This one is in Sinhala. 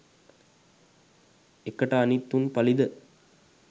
එකට අනිත් උන් පලිද?